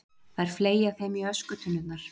Þær fleygja þeim í öskutunnurnar.